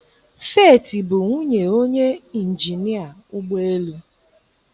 Feeti bụ nwunye onye injinia ụgbọ elu.